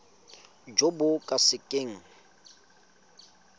jo bo ka se keng